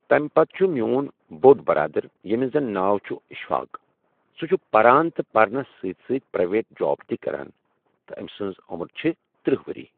تمہِ پتہٕ چھُ میون بوٚڑ برادر ییٚمِس زن ناو چھُ اشفاق سُہ چھُ پران تہٕ پرنس سۭتۍ سۭتۍ پریویٹ جاب تہِ کران تہٕ أمۍ سنٛز عُمر چھِ ترٕٛہ ؤری۔